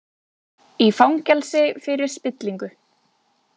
Í fangelsi fyrir spillingu